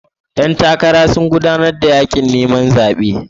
Ƴan takara sun gudanar da yakin neman zaben 'yan kasa su zabe su.